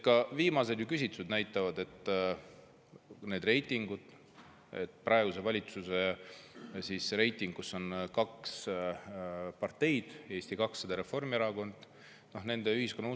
Ka viimased küsitlused ju näitavad, et praeguse valitsuse kahe partei vastu – Eesti 200 ja Reformierakond – on usaldust vaid 20%‑l ühiskonnast.